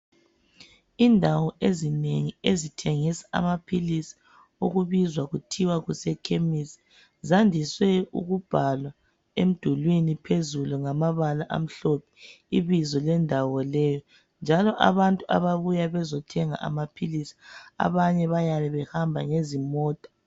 Indawo ezinengi ezithengisa amaphilisi okubizwa kuthiwa kusemakhemesi zandiswe ukubhalwa emdulwini njalo abantu abayabe bezothenga amaphilisi abanye bayabe behamba ngezimota